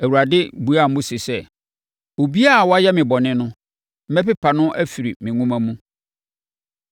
Awurade buaa Mose sɛ, “Obiara a wayɛ me bɔne no, mɛpepa no afiri me nwoma mu.